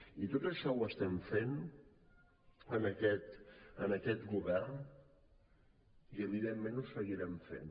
i tot això ho estem fent en aquest govern i evidentment ho seguirem fent